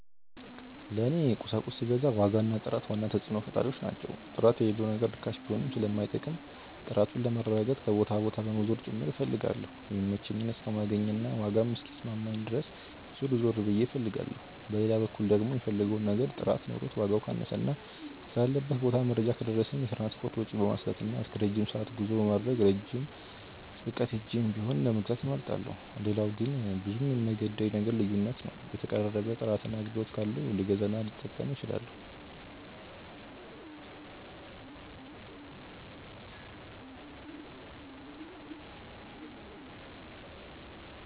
ለኔ ቁሳቁስ ስገዛ ዋጋ እና ጥራት ዋና ተጽዕኖ ፈጣሪዎች ናቸው። ጥራት የሌለው ነገር ርካሽ ቢሆንም ስለማይጠቅም፣ ጥራቱን ለማረጋገጥ ከቦታ ቦታ በመዞር ጭምር እፈልጋለሁ የሚመቸኝን እስከማገኝ እና ዋጋም እስኪስማማኝ ድረስ ዞር ዞር ብዬ ፈልጋለሁ። በሌላ በኩል ደግሞ፣ የምፈልገው ነገር ጥራት ኖሮት ዋጋው ካነሰና ስላለበት ቦታ መረጃ ከደረሰኝ፣ የትራንስፖርት ወጪን በማስላትና እስከረጅም ሰዓት ጉዞ በማድረግ ርቄም ሄጄ ቢሆን ለመግዛት እመርጣለሁ። ሌላው ግን ብዙም የማይገደኝ ነገር ልዩነት ነው የተቀራረበ ጥራትና አገልግሎት ካለው ልገዛና ልጠቀም እችላለሁ።